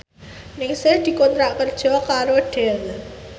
Ningsih dikontrak kerja karo Dell